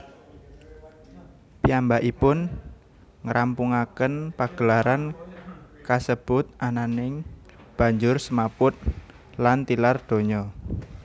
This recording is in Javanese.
Piyambakipun ngrampungaken pagelaran kasebut ananging banjur semaput lan tilar donya